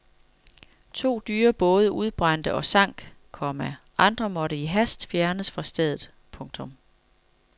To dyre både udbrændte og sank, komma andre måtte i hast fjernes fra stedet. punktum